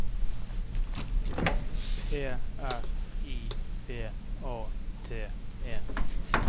P R I V A T E